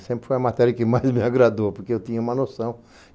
Sempre foi a matéria que mais me agradou, porque eu tinha uma noção.